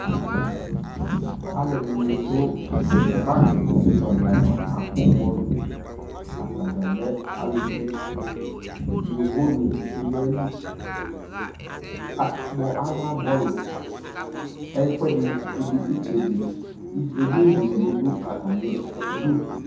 alʋɛdini dʋ parki tsɔ di aɣa ka kpɔ bɔlʋ, atagya lɛ alʋvi, yɔvɔ nibi dʋali, aka kpɔ ala bɔlʋ, ɛƒʋɛdi, ɛtsɛdi ɛdini dini bi dʋ atami idʋ